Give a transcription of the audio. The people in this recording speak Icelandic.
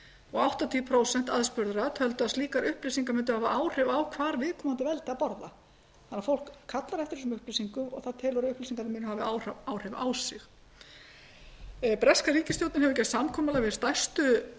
og áttatíu prósent töldu að slíkar upplýsingar mundu hafa áhrif á hvar viðkomandi veldi að borða að fólk kallar eftir þessum upplýsingum og það telur að upplýsingarnar muni hafa áhrif á sig hefur breska ríkisstjórnin gert samkomulag við stærstu